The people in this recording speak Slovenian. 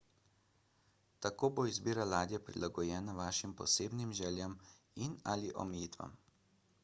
tako bo izbira ladje prilagojena vašim posebnim željam in/ali omejitvam